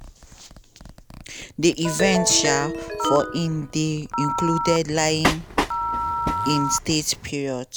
di events um for am dey include lying in state period